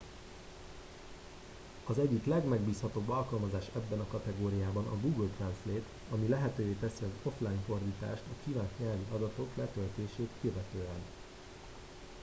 az egyik legmegbízhatóbb alkalmazás ebben a kategóriában a google translate ami lehetővé teszi az offline fordítást a kívánt nyelvi adatok letöltését követően